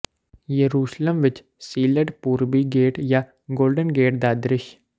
ਯਰੂਸ਼ਲਮ ਵਿਚ ਸੀਲਡ ਪੂਰਬੀ ਗੇਟ ਜਾਂ ਗੋਲਡਨ ਗੇਟ ਦਾ ਦ੍ਰਿਸ਼